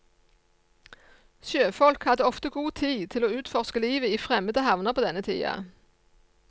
Sjøfolk hadde ofte god tid til å utforske livet i fremmede havner på denne tida.